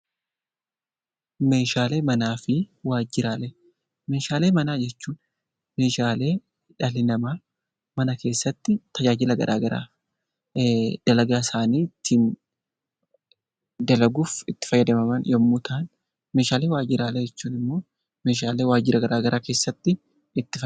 Meeshaalee manaa fi waajjiraalee Meeshaalee manaa jechuun meeshaalee dhalli namaa mana keessatti tajaajila gara garaa dalagaa isaanii dalaguuf itti fayyadaman yommuu ta'an; Meeshaalee waajjiraalee jechuun immoo meeshaalee waajjira gara garaa keessatti itti fayyadaman.